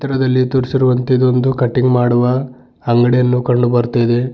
ಚಿತ್ರದಲ್ಲಿ ತೋರಿಸಿರುವಂತೆ ಇದೊಂದು ಕಟಿಂಗ್ ಮಾಡುವ ಅಂಗಡಿಯನ್ನು ಕಂಡು ಬರ್ತಿದೆ.